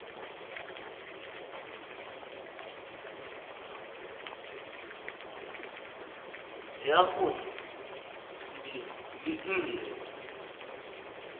ya go di le nne